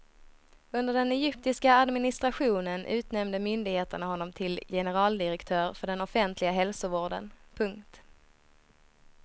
Under den egyptiska administrationen utnämnde myndigheterna honom till generaldirektör för den offentliga hälsovården. punkt